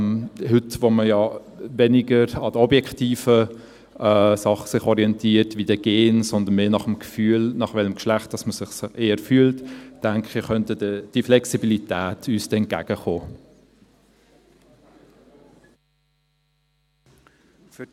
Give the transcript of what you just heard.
Heute, wo man sich weniger an den objektiven Dingen orientiert wie an den Genen, sondern mehr am Gefühl, welchem Geschlecht man sich eher zugehörig fühlt, könnte uns diese Flexibilität entgegenkommen.